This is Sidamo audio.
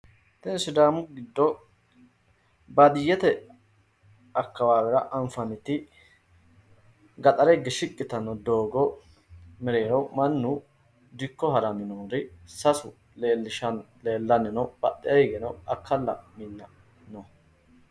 Kuni sidaamu giddo baadiyyete akkawaawera anfannihu gaxare higge shiqqi yitanno doogo mereero mannu dikko haranna sasu leellishshanno leellanni no badhee higeno akkalla minna no.